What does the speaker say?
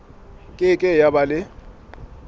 ke ke ya ba le